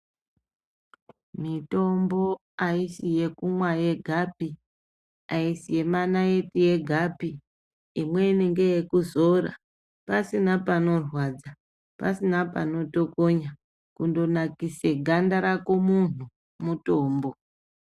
Mitombo aisi yekumwa yegapi aisi yema naiti yegapi imweni ngeyekuzora pasina panorwadza pasina pano tokonya kundo nakise ganda rako munhu mutombo.